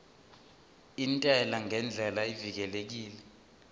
intela ngendlela evikelekile